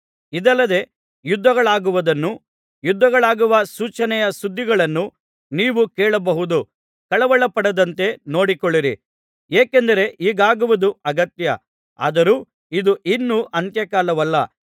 ಇದಲ್ಲದೆ ಯುದ್ಧಗಳಾಗುವುದನ್ನೂ ಯುದ್ಧಗಳಾಗುವ ಸೂಚನೆಯ ಸುದ್ದಿಗಳನ್ನೂ ನೀವು ಕೇಳಬಹುದು ಕಳವಳಪಡದಂತೆ ನೋಡಿಕೊಳ್ಳಿರಿ ಏಕೆಂದರೆ ಹೀಗಾಗುವುದು ಅಗತ್ಯ ಆದರೂ ಇದು ಇನ್ನೂ ಅಂತ್ಯಕಾಲವಲ್ಲ